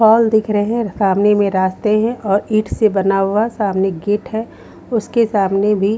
पोल दिख रहे हैं सामने में रास्ते हैं और ईट से बना हुआ सामने गेट है उसके सामने भी--